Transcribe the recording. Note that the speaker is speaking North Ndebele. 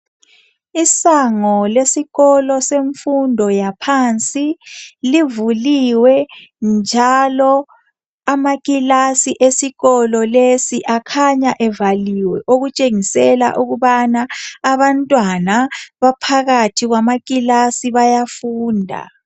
isango lesikolo semfundo yaphansi livuliwe njalo amakilasi esikolo lesi akhanya evaliwe okutrshengisela ukubana abantwana baphakathi kwamakilasi bayafunda